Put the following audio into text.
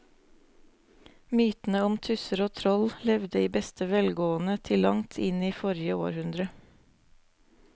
Mytene om tusser og troll levde i beste velgående til langt inn i forrige århundre.